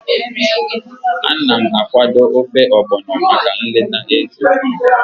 Ana m akwado ofe Ogbono maka nleta Eze.